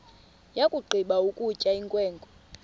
yakugqiba ukutya inkwenkwe